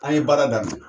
An ye baara daminɛ